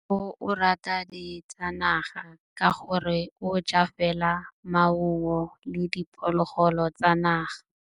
Tshekô o rata ditsanaga ka gore o ja fela maungo le diphologolo tsa naga.